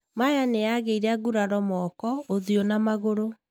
Maya nĩagĩire nguraro moko, ũthiũ na magũrũ.